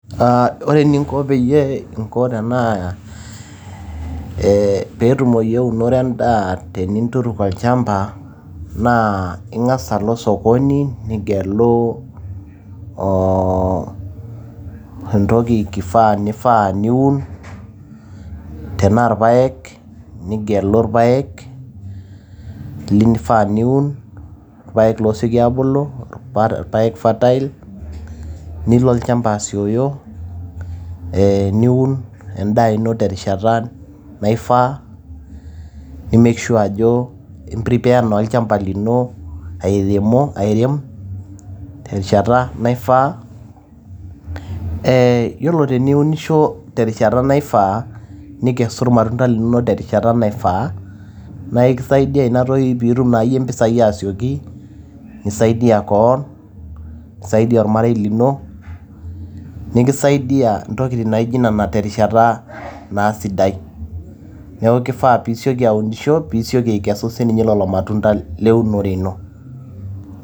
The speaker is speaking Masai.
Ah ore eninko peyie inko tenaa eh petumoyu eunore endaa teninduruk olchamba, naa ing'asa alo osokoni nigelu o entoki kifaa nifaa niun, tenaa irpaek nigelu irpaek lifaa niun, irpaek loseki abulu, pa ifatail. Nilo olchamba asioyo, eh niun endaa ino terishata naifaa. Ni make sure ajo i prepare na olchamba lino airemo airem, terishata naifaa. Eh yiolo teniunisho terishata naifaa, nikeau ilmatunda linonok terishata naifaa. Na ekisaidia inatoki piitum naayie impisai asioki, nisaidia keon, nisaidia ormarei lino, nikisaidia intokiting' naji nena terishata ah naa sidai. Neeku kifaa piseki aunisho, pisioki akesu sininche lelo matunda leunore ino.